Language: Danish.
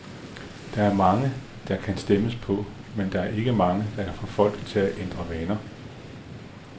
Der er mange, der kan stemmes på, men der er ikke mange, der kan få folk til at ændre vaner.